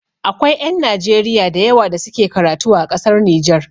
Akwai ƴan Najeriya da yawa da suke karatu a ƙasar Nijar